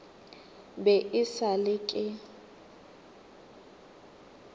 be e sa le ke